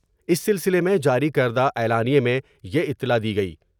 اس سلسلے میں جاری کردہ اعلامیے میں یہ اطلاع دی گئی۔